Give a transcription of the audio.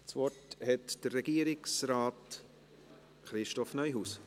Das Wort hat Regierungsrat Christoph Neuhaus.